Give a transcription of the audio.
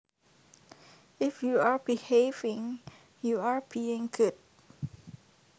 If you are behaving you are being good